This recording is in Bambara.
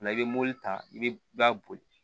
i bɛ mobili ta i bɛ i b'a boli